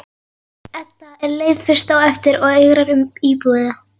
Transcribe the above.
Edda er leið fyrst á eftir og eigrar um íbúðina.